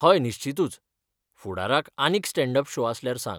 हय निश्चितूच! फुडाराक आनीक स्टॅन्ड अप शो आसल्यार सांग.